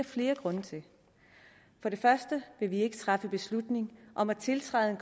flere grunde til for det første vil vi ikke træffe beslutning om at tiltræde en